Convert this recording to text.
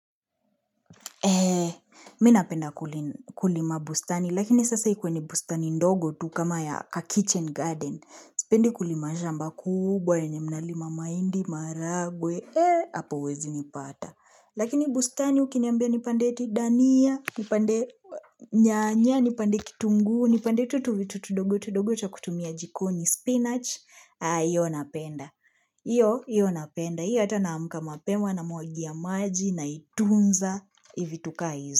Eee, mimi napenda kulima bustani, lakini sasa ikuwe ni bustani ndogo tu kama ya "kitchen garden". Sipendi kulima shamba kubwa, yenye mnalima mahindi, maragwe, eee, hapo huwezi nipata. Lakini bustani ukinambia nipande dhania, nipande nyanya, nipande kitunguu, nipande tu vitu tudogo tudogo cha kutumia jikoni, spinach. Aah hiyo napenda! Hiyo hiyo napenda hiyo hata naamka mapema namwagai ya maji naitunza vitu kaa hizo.